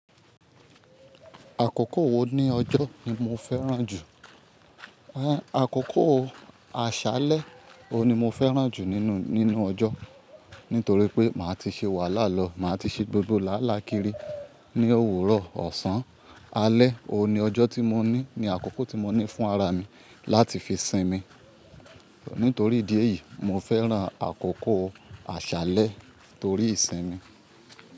Àkókò wo ní ọjọ́ ni mo fẹ́ràn jù? Eh, àkókò aṣálẹ́, o ni mo fẹ́ràn jù nínú, nínú ọjọ́. Nítorí pé máa ti ṣe wàhálà lọ, máa ti ṣe gbogbo làálàákíri ní òwúrọ̀, ọ̀sán. Alẹ́ oun ni ọjọ́ tí mo ní, ni àkókò tí mo ní fún ara mi láti fi sinmi. Nítorí ìdí èyí, mo fẹ́ràn àkókò aṣálẹ́ torí ìsinmi.